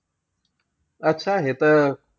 अच्छा हे तर,